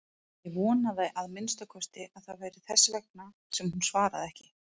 Ég vonaði að minnsta kosti að það væri þess vegna sem hún svaraði ekki.